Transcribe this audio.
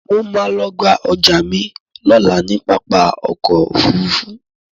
Mo ma lọ gba ọjà mi lọ́la ní pápá ọkọ̀ Òfurufú